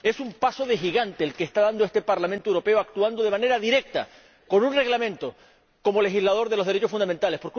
Es un paso de gigante el que está dando este Parlamento Europeo, actuando de manera directa con un reglamento para legislar los derechos fundamentales.